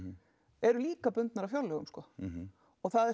eru líkar bundnar af fjárlögum sko og það er